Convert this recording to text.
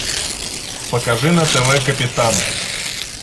покажи на тв капитан